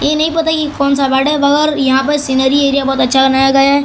ये नहीं पता कि कौन सा यहां पर सीनरी एरिया बहोत अच्छा बनाया गया है।